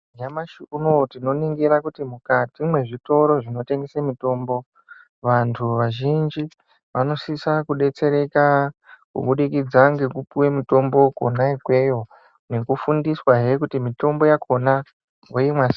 Nyamashi unouyu, tinoningira kuti mukati mezvitoro zvinotengese mitombo, vantu vazhinji vanosisa kudetsereka kubudikidza ngekupiwa mitombo kona ikweyo nekufindiswa ehekuti mitombo yakona oyinwa seyi.